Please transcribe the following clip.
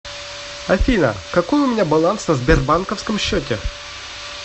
афина какой у меня баланс на сбербанковском счете